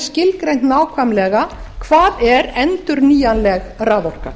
skilgreint nákvæmlega hvað er endurnýjanleg raforka